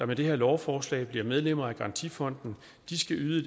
med det her lovforslag bliver medlemmer af garantifonden skal yde